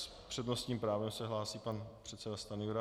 S přednostním právem se hlásí pan předseda Stanjura.